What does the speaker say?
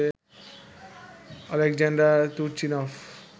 Oleksandr Turchynov